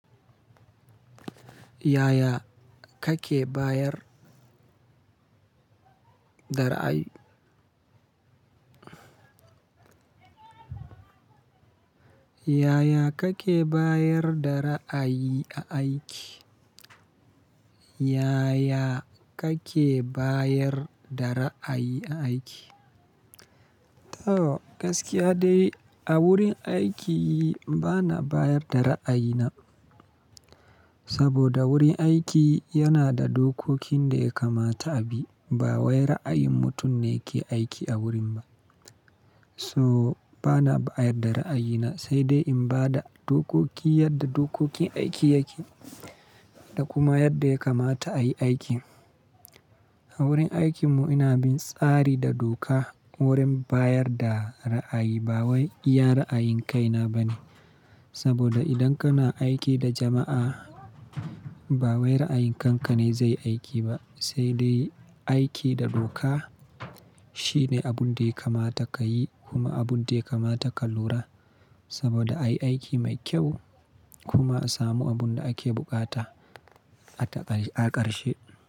Yaya kake bayar da ra'ayi? Yaya kake bayar da ra'ayi a aiki? Yaya kake bayar da ra'ayi a aiki? To, gaskiya dai a wurin aiki bana bayar da ra'ayina. Saboda wurin aiki yana da dokokin da ya kamata a bi. Ba wai ra'ayin mutum ne ke aiki a wurin ba. So bana bayar da ra'ayina, sai dai in ba da dokoki yadda dokokin aiki yake da kuma yadda ya kamata a yi aiki. A wurin aikin mu ina bin tsari da doka wurin bayar da ra'ayi. Ba wai iya ra'ayin kaina ba ne. Saboda idan kana aiki da jama'a, ba wai ra'ayin kanka ne zai aiki ba, sai dai aiki da doka shine abun da ya kamata ka yi kuma abun da ya kamata ka lura. Saboda a yi aiki mai kyau kuma a samu abun da ake buƙata a ƙarshe.